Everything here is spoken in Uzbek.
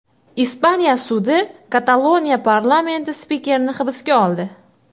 Ispaniya sudi Kataloniya parlamenti spikerini hibsga oldi.